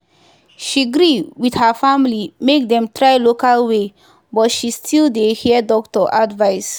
she gree with her family make them try local way but she still dey hear doctor advice.